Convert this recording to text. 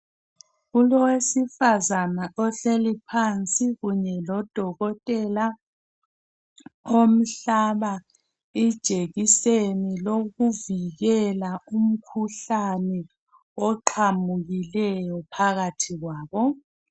Kulowesifazana ohleli phansi kunye lodokotela omhlaba ijekiseni lokuvikela umikhuhlane ovelileyo phakathi kwabo.